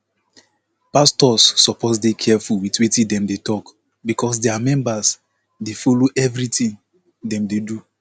pastors suppose dey careful with wetin dem dey talk because dia members dey follow everything dem dey do